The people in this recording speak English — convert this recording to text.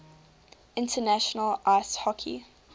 international ice hockey